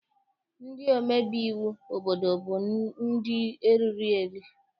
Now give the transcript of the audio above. Ndị omebe iwu obodo bụ ndị eriri eri.